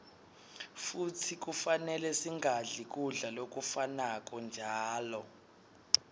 futsi kufanele singadli kudla lokufanako njalo